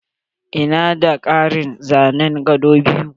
Ina da ƙarin zanen gado biyu.